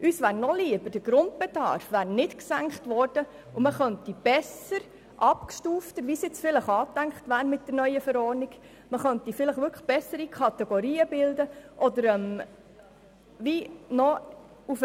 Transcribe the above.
Uns wäre nochlieber, der Grundbedarf wäre nicht gesenkt worden, sodass man besser und abgestufter Kategorien bilden könnte, wie es jetzt vielleicht mit der neuen Verordnung angedacht ist, oder auch, man könnte besser auf den Einzelnen eingehen.